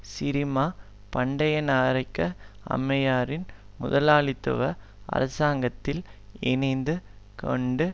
சிறிமா பண்டயநாயக்க அம்மையாரின் முதலாளித்துவ அரசாங்கத்தில் இணைந்து கொண்டு